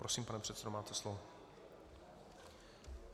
Prosím, pane předsedo, máte slovo.